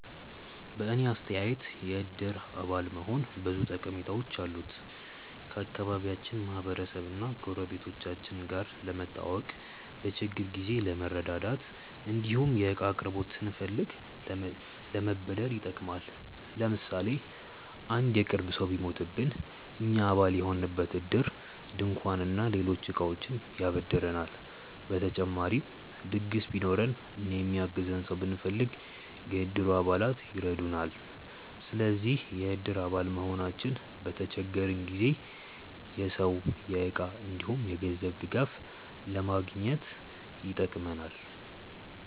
በእኔ አስተያየት የእድር አባል መሆን ብዙ ጠቀሜታዎች አሉት። ከአካባቢያችን ማህበረሰብ እና ጎረቤቶቻችን ጋር ለመተዋወቅ፣ በችግር ጊዜ ለመረዳዳት እንዲሁም የእቃ አቅርቦት ስንፈልግ ለመበደር ይጠቅማል። ለምሳሌ አንድ የቅርብ ሰው ቢሞትብን እኛ አባል የሆንበት እድር ድንኳን እና ሌሎች እቃዎችን ያበድረናል። በተጨማሪም ድግስ ቢኖረን እና የሚያግዘን ሰው ብንፈልግ፣ የእድሩ አባላት ይረዱናል። ስለዚህ የእድር አባል መሆናችን በተቸገረን ጊዜ የሰው፣ የእቃ እንዲሁም የገንዘብ ድጋፍ ለማግኘት ይጠቅማል።